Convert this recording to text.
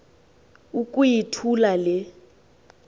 uku yithula le